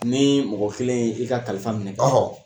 Ni mɔgɔ kelen ye i ka kalifa minɛ ka ban